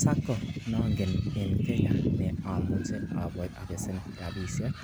Sacco nongen en Kenya ne amuche abesen rabiisiek